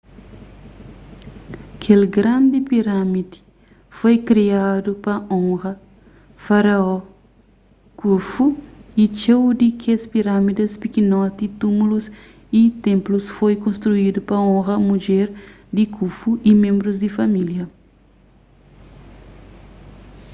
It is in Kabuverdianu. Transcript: kel grandi pirâmidi foi kriadu pa onra faraó khufu y txeu di kes pirâmides pikinoti túmulus y ténplus foi konstruídu pa onra mudjer di khufu y ménbrus di família